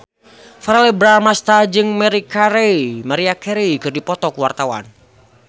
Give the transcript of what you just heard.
Verrell Bramastra jeung Maria Carey keur dipoto ku wartawan